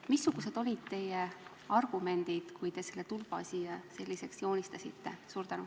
Missugused olid teie argumendid, kui te selle tulba siia sellisena joonistasite?